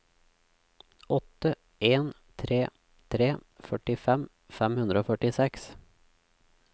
åtte en tre tre førtifem fem hundre og førtiseks